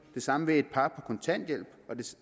det samme vil et par på kontanthjælp